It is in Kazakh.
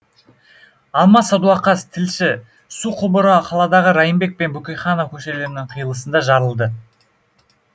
алмас садуақас тілші су құбыры қаладағы райымбек пен бөкейханов көшелерінің қиылысында жарылды